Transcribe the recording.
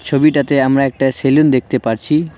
ছবিটাতে আমরা একটা সেলুন দেখতে পারছি।